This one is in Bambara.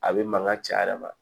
A bɛ mankan caya yɛrɛ ma